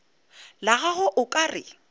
la gagwe o ka re